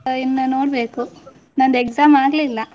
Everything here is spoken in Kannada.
ಹಾ ಇನ್ನು ನೋಡ್ಬೇಕು, ನಂದು exam ಆಗ್ಲಿಲ್ಲ.